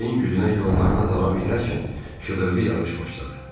Küləyin gücünə yollarını davam edərkən şıdırğı yağış başladı.